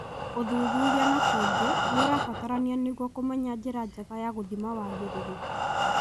ũthuthuria nakung'i niũrabatarania nĩguo kũmenya njĩra njega ya gũthima wagĩrĩru.